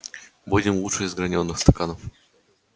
будем лучше из гранёных стаканов